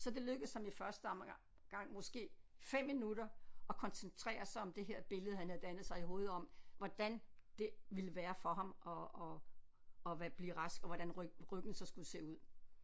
Så det lykkedes ham i første om gang måske 5 minutter at koncentrere sig om det her billede han havde dannet sig i hovedet om hvordan det ville være for ham at at at være blive rask og hvordan ryggen ryggen så skulle se ud